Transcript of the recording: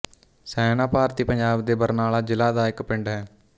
ਸਹਿਣਾ ਭਾਰਤੀ ਪੰਜਾਬ ਦੇ ਬਰਨਾਲਾ ਜ਼ਿਲ੍ਹਾ ਦਾ ਇੱਕ ਪਿੰਡ ਹੈ